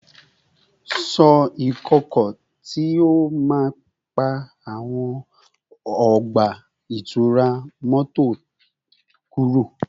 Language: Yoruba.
Ṣọ́ ìkọ̀kọ̀ tí ó máa ń pa àwọn ọgbà ìtura mọ́tò kúrò